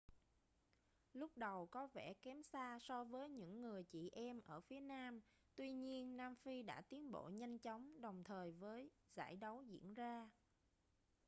lúc đầu có vẻ kém xa so với những người chị em ở phía nam tuy nhiên nam phi đã tiến bộ nhanh chóng đồng thời với giải đấu diễn ra